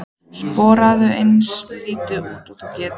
Sporaðu eins lítið út og þú getur.